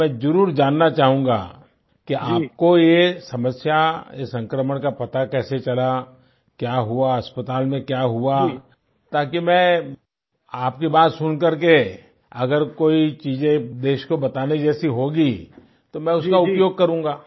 तो मैं जरुर जानना चाहूंगा कि आपको ये समस्या इस संक्रमण का पता कैसे चला क्या हुआ अस्पताल में क्या हुआ ताकि मैं आपकी बात सुनकर अगर कोई चीज़ें देश को बताने जैसी होगी तो मैं उसका उपयोग करूँगा